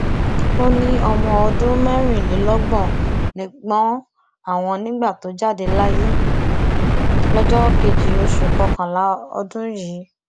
ó ní ọmọ ọdún mẹrìnlélọgbọn lẹgbọn àwọn nígbà tó jáde láyé lọjọ keje oṣù kọkànlá ọdún yìí